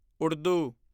Urdu